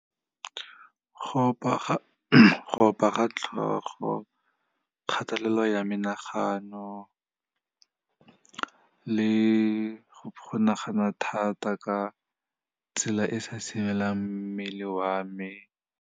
Go opa ga tlhogo, kgatelelo ya menagano le go nagana thata ka tsela e e sa mmele wa me.